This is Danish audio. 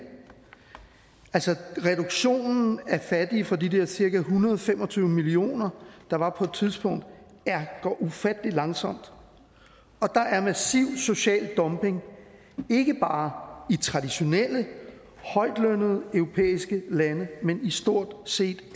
altså reduktionen af af fattige fra de der cirka en hundrede og fem og tyve millioner der var på et tidspunkt går ufattelig langsomt og der er massiv social dumping ikke bare i traditionelt højtlønnede europæiske lande men i stort set